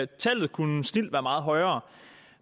tallet kunne snildt være meget højere